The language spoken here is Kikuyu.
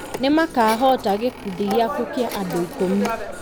nĩ makahoota gĩkundi gĩaku kĩa andũ ikũmi.